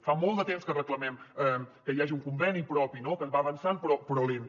fa molt de temps que reclamem que hi hagi un conveni propi no que va avançant però lentament